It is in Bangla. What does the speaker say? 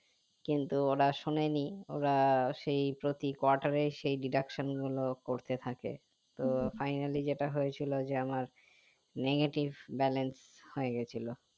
কিন্তু ওরা শোনেনি ওরা সেই প্রতি quarter সেই deduction গুলো করতে থাকে তো Finally যেটা হয়েছিল যে আমার negative balance হয়ে গেছিলো